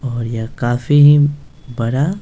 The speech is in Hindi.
और यह काफी ही बड़ा --